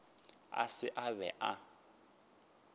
a se a be a